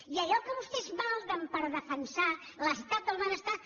i allò que vostès malden per defensar l’estat del benestar